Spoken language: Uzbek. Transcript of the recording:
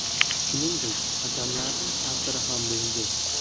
Shuningdek, hakamlarning ta’siri ham bo‘ldi.